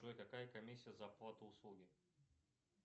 джой какая комиссия за оплату услуги